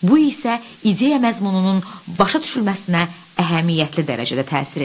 Bu isə ideya məzmununun başa düşülməsinə əhəmiyyətli dərəcədə təsir edir.